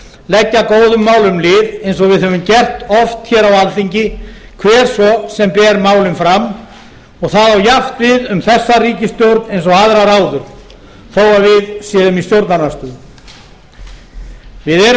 leggja góðum málum lið eins og við höfum gert oft hér á alþingi hver svo sem ber málin fram það á jafnt við um þessa ríkisstjórn eins og aðrar áður þó við séum í stjórnarandstöðu við erum stefnuföst